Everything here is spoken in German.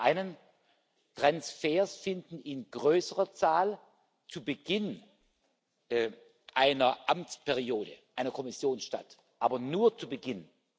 Zum einen Transfers finden in größerer Zahl zu Beginn einer Amtsperiode eine Kommission statt, aber nur zu Beginn.